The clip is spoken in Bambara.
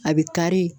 A bɛ kari